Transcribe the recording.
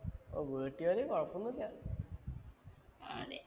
വീട്ടുജോലി കുഴപ്പൊന്നുല്ല.